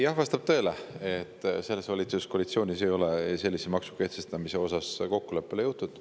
Jah, vastab tõele, et selles valitsuskoalitsioonis ei ole sellise maksu kehtestamises kokkuleppele jõutud.